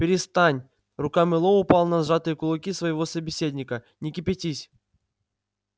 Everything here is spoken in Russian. перестань рука мэллоу упала на сжатые кулаки своего собеседника не кипятись